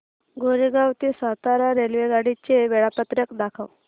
कोरेगाव ते सातारा रेल्वेगाडी चे वेळापत्रक दाखव